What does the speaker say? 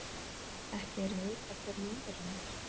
Ekki er vitað hver móðirin er